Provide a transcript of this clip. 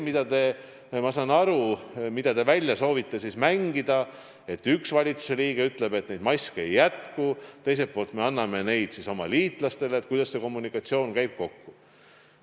Mida te soovite siin välja mängida, nagu ma aru saan, on see: kui üks valitsuse liige ütleb, et maske ei jätku, aga teiselt poolt me anname neid oma liitlastele, siis kuidas see kommunikatsioon kokku käib.